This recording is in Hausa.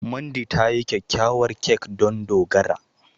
Mandy ta yi kyakkyawar kek don Dogara.